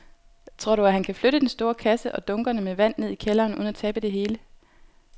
Tror du, at han kan flytte den store kasse og dunkene med vand ned i kælderen uden at tabe det hele?